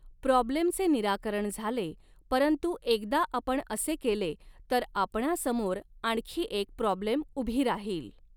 प्रॉब्लेमचे निराकरण झाले परंतु एकदा आपण असे केले तर आपणासमोर आणखी एक प्रॉब्लेम ऊभी राहील.